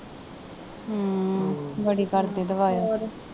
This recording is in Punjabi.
ਬੜੀ ਕਰਦੇ।